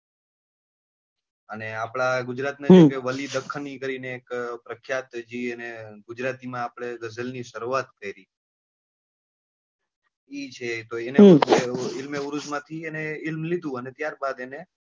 અને આપડા ગુજરાત ના છે જે વલીડખાન કરીને એક પ્રખ્યાત છે જી એને ગુજરાતી માં ગઝલ ની સરુઆત કરી એ છે તો એને પણ ઈલ્મે ઉરુઝ માંથી જ લીધું અને ત્યાર બાદ એને,